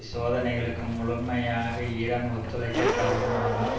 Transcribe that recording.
சோதனைகளுக்கு முழுமையாக ஈரான் ஒத்துழைக்கத் தவறுமானால்